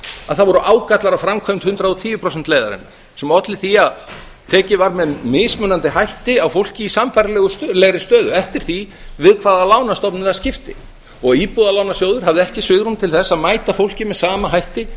að það voru ágallar á framkvæmd hundrað og tíu prósenta leiðarinnar sem olli því að tekið var með mismunandi hætti á fólki í sambærilegri stöðu eftir því við hvaða lánastofnun það skipti og íbúðalánasjóður hafði ekki svigrúm til þess að mæta fólki með sama hætti